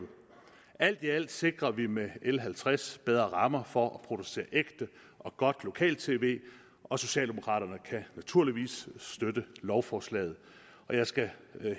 alt i alt sikrer vi med l halvtreds bedre rammer for at producere ægte og godt lokal tv og socialdemokraterne kan naturligvis støtte lovforslaget jeg skal